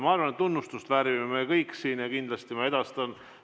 Ma arvan, et tunnustust väärime me kõik siin ja kindlasti ma edastan.